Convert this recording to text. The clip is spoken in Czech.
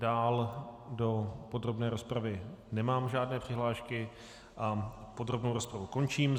Dále do podrobné rozpravy nemám žádné přihlášky a podrobnou rozpravu končím.